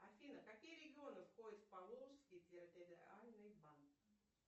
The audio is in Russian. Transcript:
афина какие регионы входят в поволжский территориальный банк